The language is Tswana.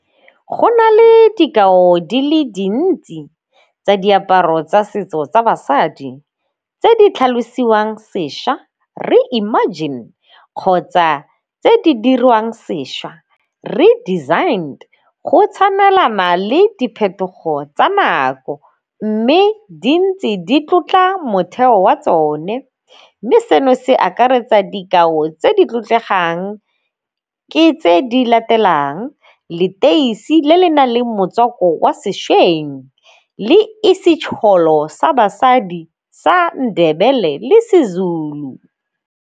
Go na le dikao di le dintsi tsa diaparo tsa setso tsa basadi tse di tlhalosiwang sešwa reimagined kgotsa tse di dirwang sešwa redesigned go tshamekela le diphetogo tsa manyako mme di ntse di tlotla motheo wa tsone. Mme seno se akaretsa dikao tse di tlotlegang ke tse di latelang, leteisi le le nang le motswako wa sešweng le sa basadi sa Ndebele le seZulu.